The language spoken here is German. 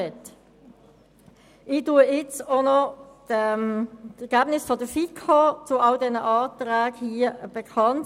Ich gebe an dieser Stelle noch die Ergebnisse der FiKo zu allen Anträgen bekannt.